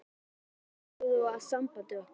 Hér á ég að sjálfsögðu við samband okkar.